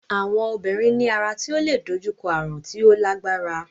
Àwọn obìnrin ní ara tí ó leè dojú kọ ààrùn tí ó lágbára.